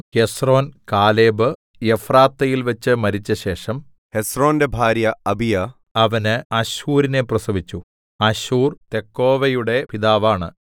Hezron കാലെബ്എഫ്രാത്തയിൽവച്ച് മരിച്ചശേഷം ഹെസ്രോന്റെ ഭാര്യ അബീയാ അവന് അശ്ഹൂരിനെ പ്രസവിച്ചു അശ്ഹൂർ തെക്കോവയുടെ പിതാവാണ്